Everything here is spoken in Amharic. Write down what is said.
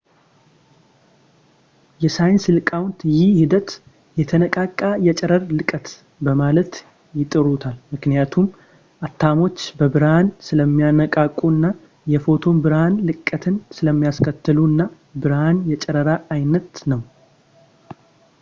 የሳይንስ ሊቃውንት ይህ ሂደት የተነቃቃ የጨረር ልቀት በማለት ይጠሩታል ምክንያቱም አተሞች በብርሃን ስለሚነቃቁ እና የፎቶን ብርሃን ልቀትን ስለሚያስከትሉ እና ብርሃን የጨረራ ዓይነት ነው